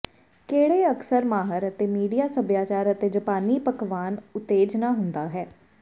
ਕਿਹੜੇ ਅਕਸਰ ਮਾਹਰ ਅਤੇ ਮੀਡੀਆ ਸਭਿਆਚਾਰ ਅਤੇ ਜਪਾਨੀ ਪਕਵਾਨ ਉਤੇਜਨਾ ਹੁੰਦੀ ਹੈ